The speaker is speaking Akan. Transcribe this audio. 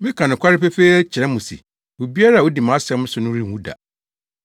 Meka nokware pefee kyerɛ mo se, obiara a odi mʼasɛm so no renwu da.”